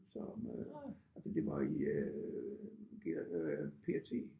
Som øh altså det var i øh P og øh P&T